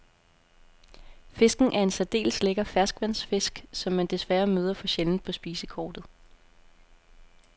Fisken er en særdeles lækker ferskvandsfisk, som man desværre møder for sjældent på spisekortet.